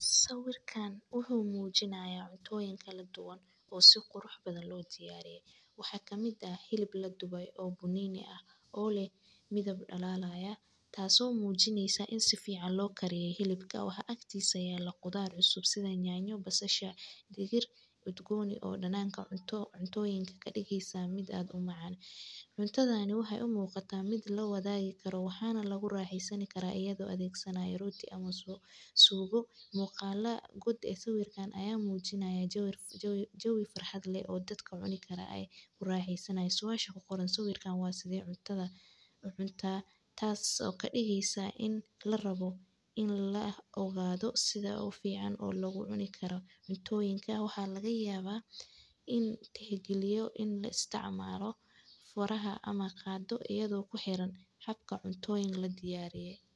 Sawirkan waxuu mujinaaya cuntooyin kaladuwan oo si qurux badan loodiyariye waxaa kamid hilib laduway oo bununi ah oo leh midab dhalalaya taaso muujinaysa in si fican loo kariyo hilibka waxaa aktiisa yaala qudar cusub sida yanyo basasha digir udgoon oo dananka cuntooyinka ka digeyso mid aad u macaan. Cuntadani waxay u muuqata mid lawadi kara waxaana laguraxeysani kara ayado la adegsanayo roti ama suugo muuqala guud ee sawirkan aya muujinaya jawi farxad leh oo dadka cuni kara ay kuraxeysanaya suasha ku qoran sawirkan waa sidee cuntada u cuntaa taasi oo kadigeyso in larabo in la ogaado sida ogu fican oo loogu cuni kara cuntooyinka waxaa lagayaaba in tixgaliyo in la isticmaalo furaha ama qaado iyado ku xiran habka cuntooyin ladiyariye.